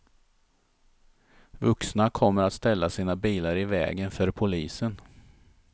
Vuxna kommer att ställa sina bilar i vägen för polisen.